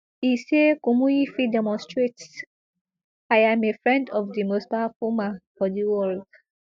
e say kumuyi fit demonstrate i am a friend of di most powerful man for di world